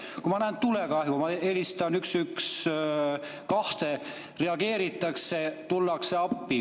Kui ma näen tulekahju, ma helistan 112, reageeritakse, tullakse appi.